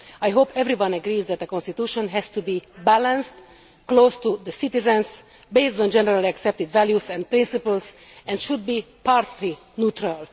I hope everyone agrees that the constitution has to be balanced, close to the citizens, based on generally accepted values and principles, and should be party neutral.